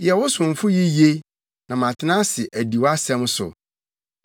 Yɛ wo somfo yiye; na matena ase adi wʼasɛm so.